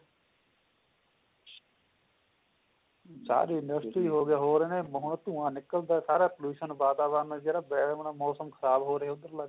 ਸਾਰੇ university ਹੋ ਗਏ ਹੋ ਰਹੇ ਨੇ ਬਹੁਤ ਧੁਆਂ ਨਿਕਲਦਾ ਸਾਰਾ pollution ਵਾਤਾਵਰਨ ਜਿਹੜਾ ਵਾਲਾ ਮੋਸਮ ਖ਼ਰਾਬ ਹੋ ਰਿਹਾ ਉਹਦਰਲਾ ਜੀ